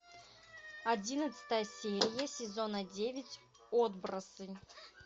одиннадцатая серия сезона девять отбросы